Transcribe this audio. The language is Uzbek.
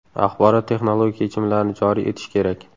Axborot-texnologik yechimlarni joriy etish kerak.